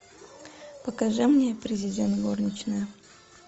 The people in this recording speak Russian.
покажи мне президент горничная